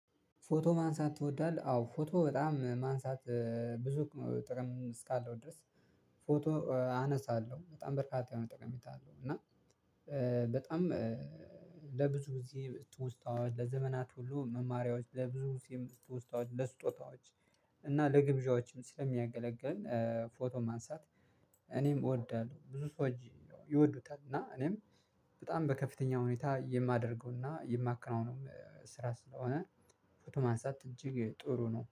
ፎቶ ማንሳት ትወዳለህ? አዎ ፎቶ በጣም ማንሳት ብዙ ጥቅም እስካለው ድረስ ፎቶ አነሳለሁ በጣም በርካታ የሆነ ጠቀሜታ አለው። እና በጣም ለብዙ ጊዜ ትውስታዎች ለዘመናት ሁሉ መማሪያዎች ለብዙ ጊዜ እርስ ተወስታዋል ለስጦታዎች። እና ለግብዣዎችም ስለሚያገለግል ፎቶ ማንሳት እኔም እወዳለሁ ብዙ ሰዎች ይወዱታል። እና እኔም በጣም በከፍተኛ ሁኔታ የማደርገውና የማከናውነው ስራ ስለሆነ ፎቶ ማንሳት እጅግ ጥሩ ነው